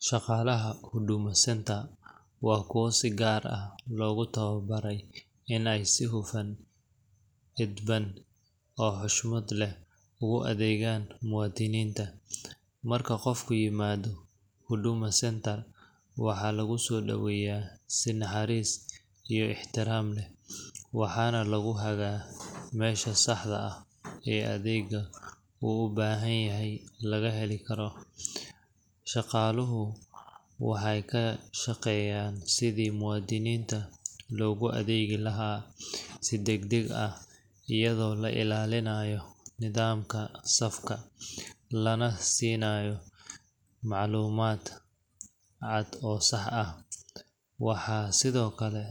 Shaqaalaha Huduma Centre waa kuwa si gaar ah loogu tababaray in ay si hufan, edban, oo xushmad leh ugu adeegaan muwaadiniinta. Marka qofku yimaado Huduma Centre, waxaa lagu soo dhoweeyaa si naxariis iyo ixtiraam leh, waxaana lagu hagaa meesha saxda ah ee adeegga uu u baahan yahay laga heli karo. Shaqaaluhu waxay ka shaqeeyaan sidii muwaadiniinta loogu adeegi lahaa si degdeg ah, iyadoo la ilaalinayo nidaamka safka, lana siiyo macluumaad cad oo sax ah. Waxaa sidoo kale